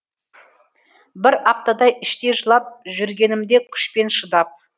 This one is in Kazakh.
бір аптадай іштей жылап жүргенімде күшпен шыдап